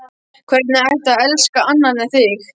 Hvernig ætti að elska annan en þig?